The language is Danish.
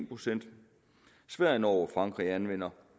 procent sverige norge og frankrig anvender